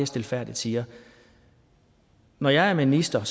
stilfærdigt siger når jeg er minister